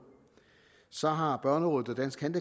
så har børnerådet og danske